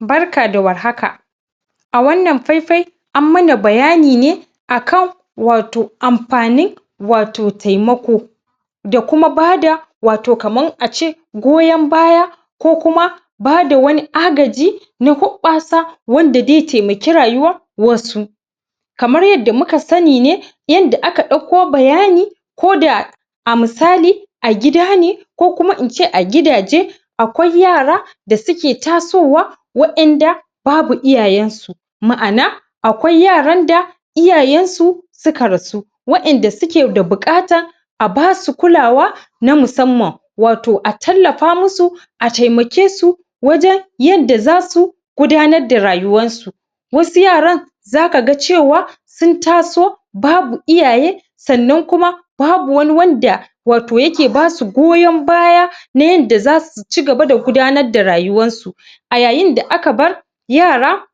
barka da war haka a wannan fai-fai an mana bayani akan wato amfanin wato taimako da kuma bada wato kaman a ce goyon baya ko kuma bada wani agaji na hubbasa wanda zai taimake rayuwan wasu kaman yadda muka sani ne yadda ake dauko bayani ko da misali a gida ne ko kuma ince a gidaje akwai yara da suke tasowa wa'en da babu iyayen su ma'ana akwai yaran da iyayen su suka rasu wa'en da suke da bukata a basu kulawa na musamman a tallafa musu a taimake su wajen yanda zasu gudanar da rayuwansu wasu yaran zaka ga cewa sun taso babu iyaye sannan kuma babu wani wanda wato yake basu goyon baya na yanda zasu cigaba da gudanar da rayuwan su a yayin da aka bar yara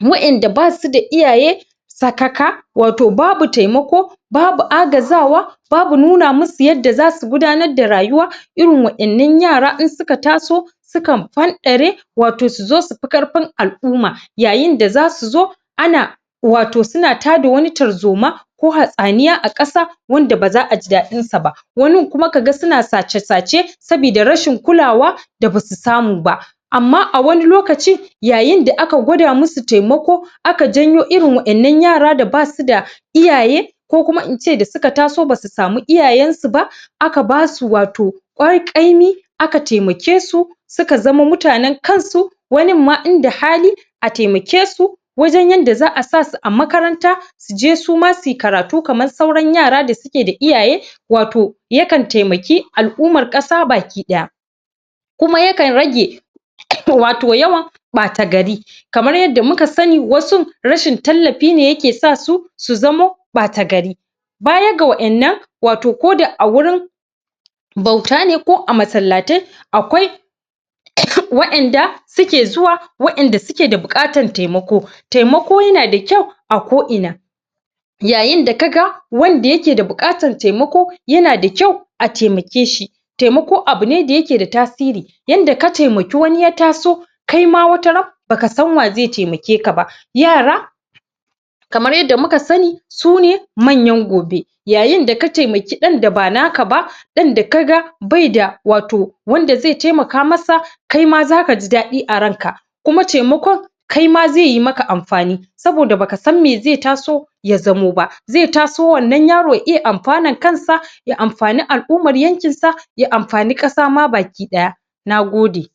wa'en da basu da iyaye sakaka wato babu taimako babu agazawa babu nuna musu yadda zasu gudanar da rayuwa irin wadannan yaran in suka taso sukan fanɗare wato suzo su fi karfin alumma yayin da zasu zo ana wato suna tada wani tarzoma ko hatsniya a kasa wanda baza a ji daɗin sa ba wani kuma ka ga yana sace sace sabida rashin kulawa da basu samu ba amma a wani lokaci yayin da aka gwaɗa musu taimako aka janyo wadannan yaran da basu da iyaye ko kuma ince da suka taso basu samu iyaye su ba aka basu wato kwarƙaimi aka taimake su suka zamo mutanen kansu wanin ma inda hali a taimake su wajen yanda za'a sa su a makaranta su je suma suyi karatu kaman sauran yaran da suke da iyaye wato ya kan taimake alumman kasa gabaki ɗaya kuma yakan rage wato yawan ɓatagari kaman yadda muka sani wasu rashin tallafi ne yake sa su su zama ɓatagari bayan ga waddan wato koda a wurin bauta ne ko a masallatai akwai wa'en da suke zuwa wa'en da suke da bukatan taimako taimako yanada ƙyau a ko ina yayin da ka ga wanda yake da bukatan taimako yana da ƙyau a taimake shi taimako abune da yake da tasiri yanda ka taimake wani ya taso kai ma wata ran baka san wa zai taimake ka ba yara kaman yanda muka sani sune manyan gobe yayin da ka taimaki ɗan da ba nake ba ɗan da ka ga bai da wato wanda da zai taimaka masa kai ma zaka ji dadi a ran ka kuma taimakon kai ma zai maka amfani saboda baka san mai zai taso ya zamo ba zai taso wannan yaron ya iya amfanan kansa ya amfane alumman yankin sa ya amfane kasa ma ga baki ɗaya Nagode